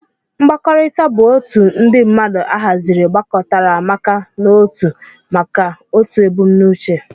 Mkpakọrita bu otu ndi mmadu ahaziri gbakọtaramaka n'otụ maka otụ ebumnuche.